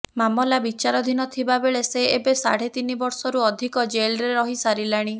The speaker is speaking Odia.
ମାମଲା ବିଚାରାଧୀନ ଥିବା ବେଳେ ସେ ଏବେ ସାଢେ ତିନି ବର୍ଷରୁ ଅଧିକ ଜେଲରେ ରହି ସାରିଲାଣି